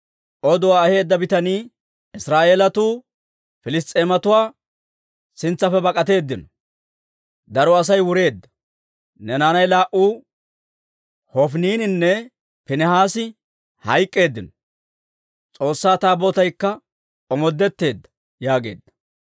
Oduwaa aheedda bitanii, «Israa'eelatuu Piliss's'eematuwaa sintsaappe bak'atteedino; daro Asay wureedda; ne naanay laa"u Hofiniininne Piinihaasi hayk'k'eeddino; S'oossaa Taabootaykka omoodetteedda» yaageedda.